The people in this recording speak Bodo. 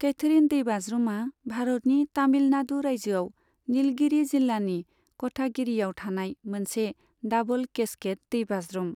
कैथरिन दैबाज्रुमा भारतनि तामिलनाडु रायजोआव निलगिरि जिल्लानि कटागिरिआव थानाय मोनसे डाबल केस्केड दैबाज्रुम।